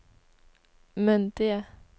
myndige